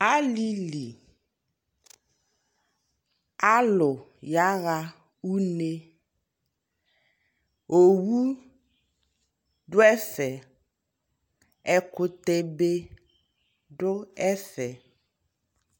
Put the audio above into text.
Alili ka lu ya ɣa une Owu du ɛfɛƐkutɛ be du ɛfɛ